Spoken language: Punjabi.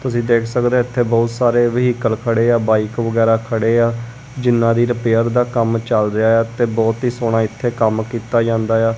ਤੁਸੀਂ ਦੇਖ ਸਕਦੇ ਇਥੇ ਬਹੁਤ ਸਾਰੇ ਵਹਿਕਲ ਖੜੇ ਆ ਬਾਈਕ ਵਗੈਰਾ ਖੜੇ ਆ ਜਿੰਨਾ ਦੀ ਰਿਪੇਅਰ ਦਾ ਕੰਮ ਚੱਲ ਰਿਹਾ ਆ ਤੇ ਬਹੁਤ ਹੀ ਸੋਹਣਾ ਇੱਥੇ ਕੰਮ ਕੀਤਾ ਜਾਂਦਾ ਆ।